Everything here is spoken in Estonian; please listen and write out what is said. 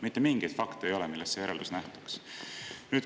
Mitte mingeid fakte ei ole, millest see järeldus lähtuks.